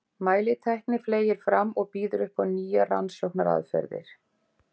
Mælitækni fleygir fram og býður upp á nýjar rannsóknaraðferðir.